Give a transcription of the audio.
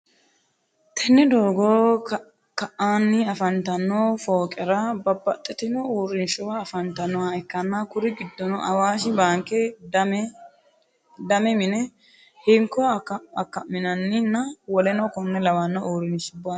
tenne doogo ka'anni afantanno fooqera babaxitinno uurinshuwa afantannoha ikkanna kuri giddono awashi baanke, dama mine, hinko akkammanni nna woleno konne lawanno uurinshubbati.